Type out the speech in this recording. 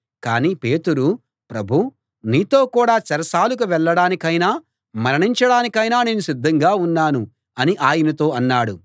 కానీ పేతురు ప్రభూ నీతో కూడా చెరసాలకు వెళ్ళడానికైనా మరణించడానికైనా నేను సిద్ధంగా ఉన్నాను అని ఆయనతో అన్నాడు